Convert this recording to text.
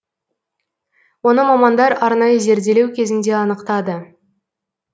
оны мамандар арнайы зерделеу кезінде анықтады